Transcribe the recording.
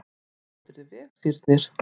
Þú stendur þig vel, Sírnir!